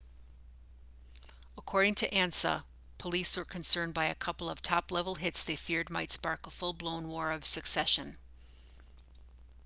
according to ansa police were concerned by a couple of top-level hits they feared might spark a full-blown war of succession